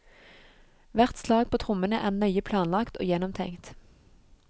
Hvert slag på trommene er nøye planlagt og gjennomtenkt.